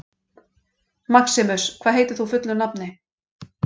Maximus, hvað heitir þú fullu nafni?